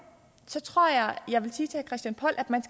christian poll at man